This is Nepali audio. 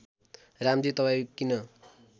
रामजी तपाईँ किन